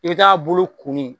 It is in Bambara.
I t'a bolo kunun